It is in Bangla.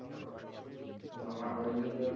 আমার আমার